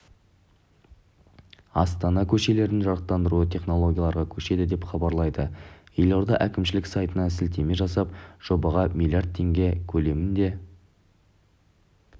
астана көшелерінің жарықтандыруы технологияларға көшеді деп хабарлайды елорда әкімшілік сайтына сілтеме жасап жобаға млрд теңге көлемінде